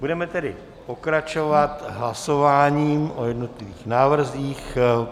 Budeme tedy pokračovat hlasováním o jednotlivých návrzích.